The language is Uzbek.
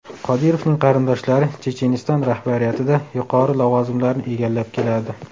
Qodirovning qarindoshlari Checheniston rahbariyatida yuqori lavozimlarni egallab keladi.